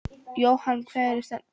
Jóhann: Og hvar standa menn núna?